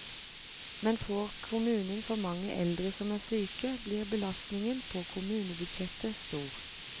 Men får kommunen for mange eldre som er syke, blir belastningen på kommunebudsjettet stor.